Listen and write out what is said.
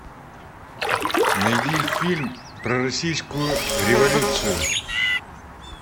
найди фильм про российскую революцию